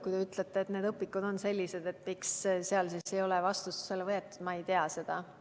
Kui te ütlete, et need õpikud on sellised, et miks seal ei ole kedagi vastutusele võetud, siis ma ei tea seda.